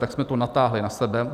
Tak jsme to natáhli na sebe.